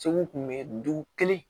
Segu kun bɛ dugu kelen